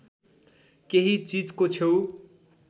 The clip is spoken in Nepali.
केही चिजको छेउ